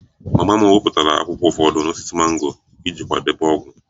Mama m wepụtara akwụkwọ ụfọdụ n'osisi mango iji kwadebe ogwu